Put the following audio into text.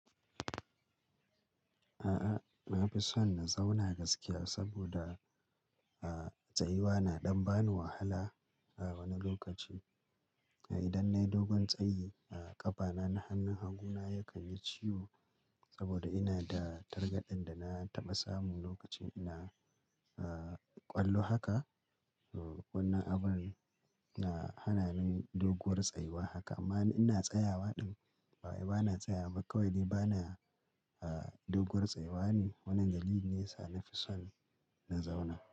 A'a, na fi son na zauna gaskiya saboda, uh, tsayuwa na ɗan ba ni wahala a wani lokaci. Idan nayi dogon tsayi, ƙafana na hannun hagu na yakan yi ciwo saboda ina da targaɗen da na taɓa samu lokacin ina, uh, ƙwallo haka. Wannan abun na hana ni doguwar tsayuwa haka amma ina tsayawa ɗin. Bawai ba na tsayawba kawai dai bana, uh, doguwar tsayuwa ne wannan dalili ne sa na fi son na zauna.